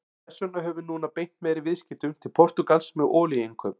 Þess vegna höfum við núna beint meiri viðskiptum til Portúgals með olíuinnkaup.